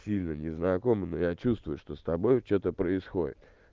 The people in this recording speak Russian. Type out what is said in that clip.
сильно не знакомы но я чувствую что с тобой что то происходит